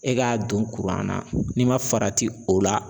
E k'a don kuran na n'i ma farati o la.